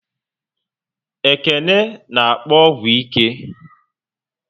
Ekene n'akpo ọgwụ ike